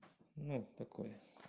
нет такое